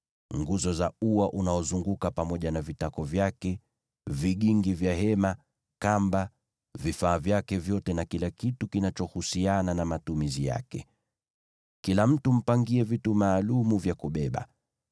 nguzo za ua unaozunguka pamoja na vitako vyake, vigingi vya hema, kamba, vifaa vyake vyote na kila kitu kinachohusiana na matumizi yake. Kila mtu mpangie vitu maalum vya kubeba.